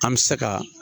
An bɛ se ka